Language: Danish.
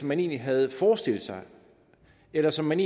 man egentlig havde forestillet sig eller som man